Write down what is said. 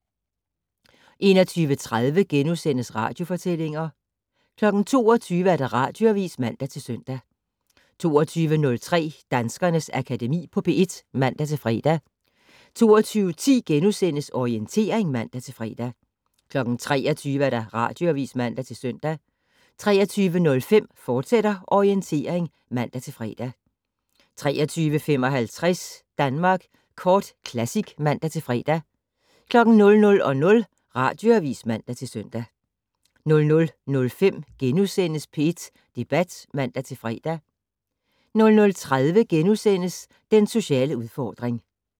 21:30: Radiofortællinger * 22:00: Radioavis (man-søn) 22:03: Danskernes Akademi på P1 (man-fre) 22:10: Orientering *(man-fre) 23:00: Radioavis (man-søn) 23:05: Orientering, fortsat (man-fre) 23:55: Danmark Kort Classic (man-fre) 00:00: Radioavis (man-søn) 00:05: P1 Debat *(man-fre) 00:30: Den sociale udfordring *